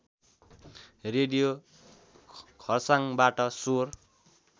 radio खर्साङबाट स्वर